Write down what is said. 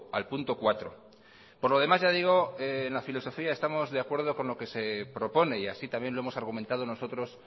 al punto cuatro por lo demás ya digo en la filosofía estamos de acuerdo con lo que se propone y así también lo hemos argumentado nosotros